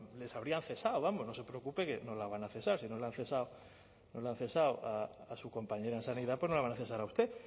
les habrían cesado vamos no se preocupe que no la van a cesar si no la han cesado a su compañera en sanidad pues no la van a cesar a usted